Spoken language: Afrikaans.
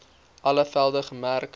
alle velde gemerk